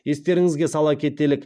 естеріңізге сала кетелік